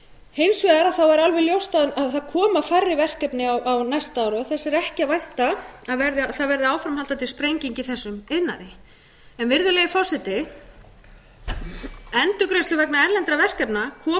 hins vegar er alveg ljóst að það koma færri verkefni á næsta ári og þess er ekki að vænta að það verði áframhaldandi sprenging í þessum iðnaði endurgreiðslur vegna erlendra verkefna koma aðeins til eftir að þau hafa staðið